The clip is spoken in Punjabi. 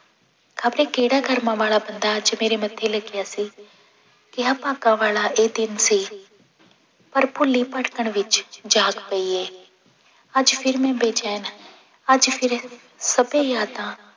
ਖ਼ਬਰੇ ਕਿਹੜਾ ਕਰਮਾਂ ਵਾਲਾ ਬੰਦਾ ਅੱਜ ਮੇਰੇ ਮੱਥੇ ਲੱਗਿਆ ਸੀ, ਕਿਹਾ ਭਾਗਾਂ ਵਾਲਾ ਇਹ ਦਿਨ ਸੀ ਪਰ ਭੁੱਲੀ ਭਟਕਣ ਵਿੱਚ ਜਾਗ ਪਈ ਹੈ, ਅੱਜ ਫਿਰ ਮੈਂ ਬੈਚੈਨ ਅੱਜ ਫਿਰ ਸਭੇ ਯਾਦਾਂ